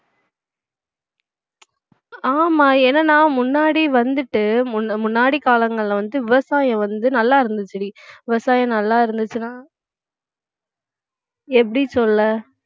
ஆமா என்னன்னா முன்னாடி வந்துட்டு முன்~ முன்னாடி காலங்கள்ல வந்துட்டு விவசாயம் வந்து நல்லா இருந்துச்சுடி விவசாயம் நல்லா இருந்துச்சுன்னா எப்படி சொல்ல